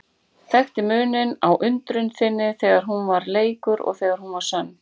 Þekkti muninn á undrun þinni þegar hún var leikur og þegar hún var sönn.